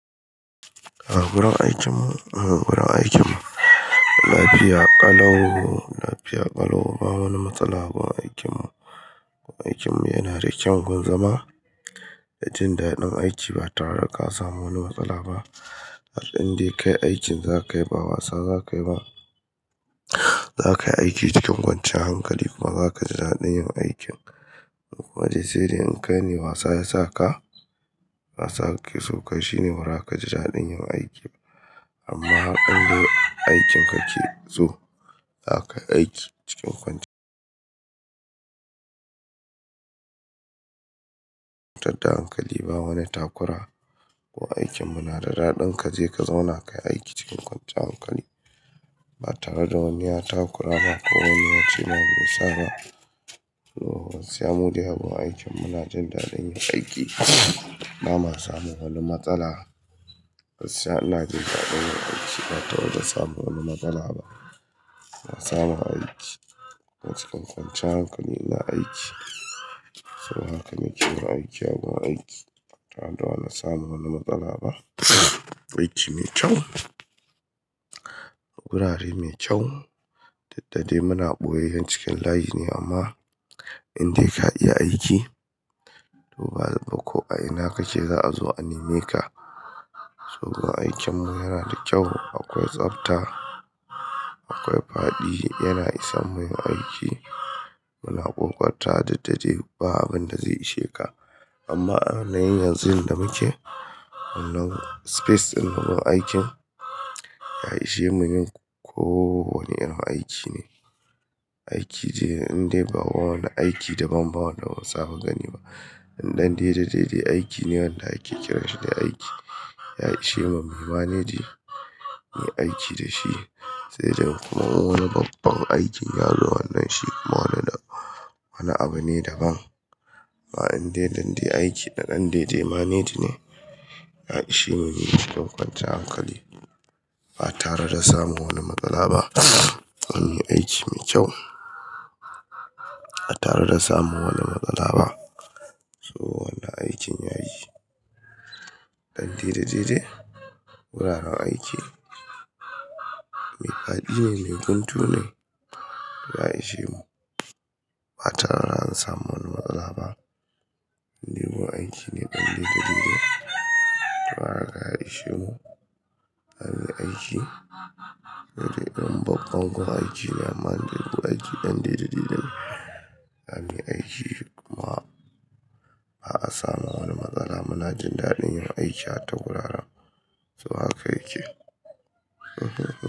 A gurin aikinmu gurin aikinmu lapiya ƙalau lapiya ƙalau. Ba wani matsala gun aikinmu. Aikin mu yana da ƙyau gun zama. Yatin da daɗin aiki ba tare da ka samu wani matsala ba. Indai kai aikin zaka yi ba wasa zaka yi ba. Zaka yi aiki cikin kwanciyan hankali kuma zaka ji daɗin yin aikin. Kuma dai sa dai in kai ne wasa yasa ka, wasa kake so kai shine bara ka ji daɗin yin aiki. Amma har indai aikin kake so, zaka yi aiki cikin kwanciy Tadda hankali ba wani takura. Aikin mu na da daɗin kaje ka zauna kayi aiki cikin kwanciyar hankali ba tare da wani ya takura ma ko wani wuce ma me sa ba. Oh saimu dai yabon aikin muna jin daɗin yin aiki ba ma samun wani matsala. Gaskiya ina jin daɗin yin aiki ba tare da samu wani matsala ba. Na samu aiki cikin kwanciyar hankali ina aiki. Saboda haka nake yin aiki a gun aiki ba tare da na samu wani matsala ba. Aiki mai kyau, wurare mai kyau dukda dai muna ɓoyeyyen cikin layi ne amma inda ka iya aiki to ba ko a ina kake za'a zo a neme ka. Aikin mu yana da kyau, akwai tsabta, akwai padi, yana isan muyi aiki. Muna ƙoƙartawa duk da ɗai ba abin da zai ishe ka. Amma a yanayin yanzu da muke, wan nan space ɗin na gurin aikin, ya ishe mu yin ko wane irin aiki ne. Aiki dai inda ba wani aiki daban ba wanda ba mu saba gani ba. Inda dan dai da dai aiki ne wanda ake kiranshi dai aiki. Ya ishe mu, mu yi maneji muyi aiki da shi sai dai kuma in wani babban aikin ya zo wannan shi kuma yana da wani abu ne daban. Ah indai don dai aiki dan dai dai maneji ne ya ishe mu yi cikin kwanciyan hankali ba tare da samun wani matsala ba. An yi aiki mai kyau ba tare da samu wani matsala ba. So wannan aikin yayi. Ɗan dai da-dai dai wuraren aiki mai fa'adi ne, mai guntu ne, ya ishe mu ba tare da an samu wani matsala ba. Inda gun aiki ne ɗan dai da dai dai dai. To haka ya ishe mu har muyi yi aiki. Sai dai ɗan babban gurin aiki ne aman gun aiki ɗan dai da dai-dai an yi aiki kuma ba'a samu wani matsala muna jin daɗin yin aiki a ta guraren. So haka yake.